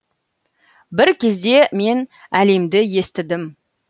бір кезде мен әлемді естідім